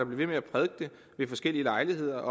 ved med at prædike det ved forskellige lejligheder